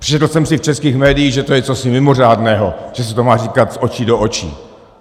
Přečetl jsem si v českých médiích, že to je cosi mimořádného, že se to má říkat z očí do očí.